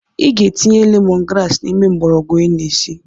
I ga-etinye lemon grass n’ime mgbọrọgwụ ị na esi